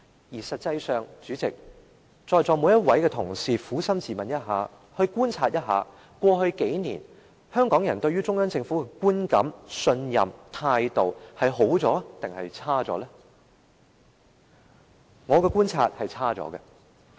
而實際上，代理主席，請在席每位同事撫心自問及觀察一下，過去數年，香港人對於中央政府的觀感、信任、態度是變好了還是變差了？